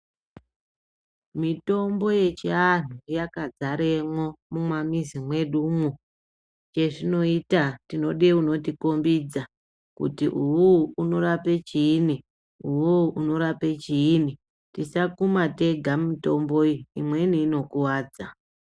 Mitombo yechianhu yakadzaremo mumamizi mwedu umu zvezvinoita tinoda unotikombidza kuti uhu unorape chiini tisakuma tega mitombo iyi imweni inokuwadza.